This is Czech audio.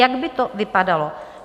Jak by to vypadalo?